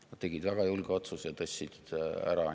Nad tegid väga julge otsuse ja tõstsid need ära.